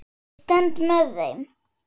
Ég stend með þeim.